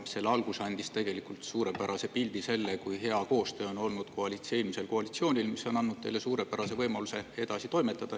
Selle algus andis tegelikult suurepärase pildi, kui hea koostöö on olnud eelmisel koalitsioonil, mis on andnud teile suurepärase võimaluse edasi toimetada.